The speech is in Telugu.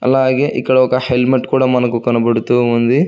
అలాగే ఇక్కడ ఒక హెల్మెట్ కూడ మనకు కనబడుతూ ఉంది.